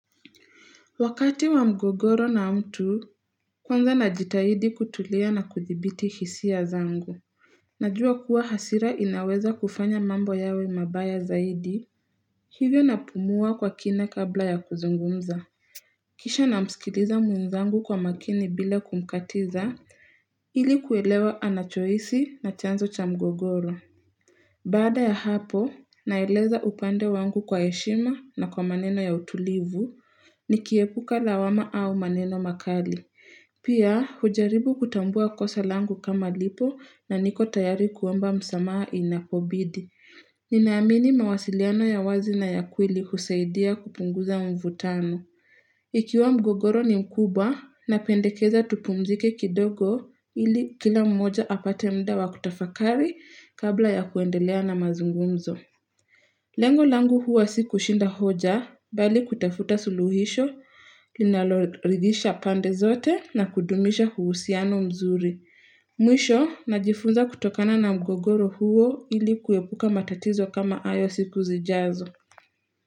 Wakati wa mgogoro na mtu, kwanza najitahidi kutulia na kudhibiti hisia zangu. Najua kuwa hasira inaweza kufanya mambo yawe mabaya zaidi. Hivyo napumua kwa kina kabla ya kuzungumza. Kisha namsikiliza mwezangu kwa makini bila kumkatiza, ili kuelewa anachohisi na chanzo cha mgogoro. Baada ya hapo, naeleza upande wangu kwa heshima na kwa maneno ya utulivu, nikiepuka lawama au maneno makali. Pia, hujaribu kutambua kosa langu kama lipo na niko tayari kuomba msamaha inapobidi. Ni naamini mawasiliano ya wazi na ya kweli husaidia kupunguza mvutano. Ikiwa mgogoro ni mkuba, napendekeza tupumzike kidogo ili kila mmoja apate mda wa kutafakari, kabla ya kuendelea na mazungumzo. Lengo langu huwa si kushinda hoja. Bali kutafuta suluhisho, linalor ridhisha pande zote na kudumisha huusiano mzuri. Mwisho, najifunza kutokana na mgogoro huo, ili kuepuka matatizo kama ayo siku zijazo.